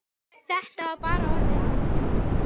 Þetta var bara orðið ágætt.